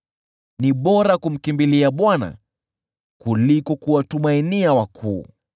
Ni bora kumkimbilia Bwana kuliko kuwatumainia wakuu.